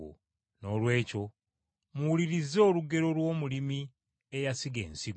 “Noolwekyo muwulirize olugero lw’omulimi eyasiga ensigo.